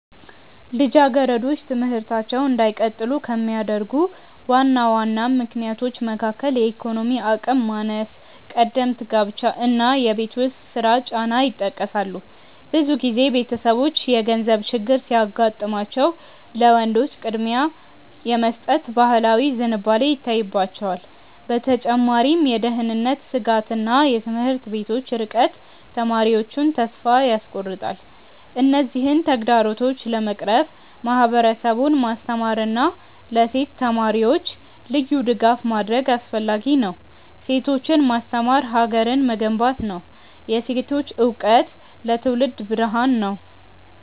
ልጃገረዶች ትምህርታቸውን እንዳይቀጥሉ ከሚያደርጉ ዋና ዋና ምክንያቶች መካከል የኢኮኖሚ አቅም ማነስ፣ ቀደምት ጋብቻ እና የቤት ውስጥ ስራ ጫና ይጠቀሳሉ። ብዙ ጊዜ ቤተሰቦች የገንዘብ ችግር ሲያጋጥማቸው ለወንዶች ቅድሚያ የመስጠት ባህላዊ ዝንባሌ ይታይባቸዋል። በተጨማሪም የደህንነት ስጋትና የትምህርት ቤቶች ርቀት ተማሪዎቹን ተስፋ ያስቆርጣል። እነዚህን ተግዳሮቶች ለመቅረፍ ማህበረሰቡን ማስተማርና ለሴት ተማሪዎች ልዩ ድጋፍ ማድረግ አስፈላጊ ነው። ሴቶችን ማስተማር ሀገርን መገንባት ነው። የሴቶች እውቀት ለትውልድ ብርሃን ነው።